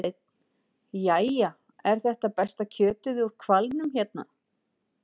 Hafsteinn: Jæja, er þetta besta kjötið úr hvalnum hérna?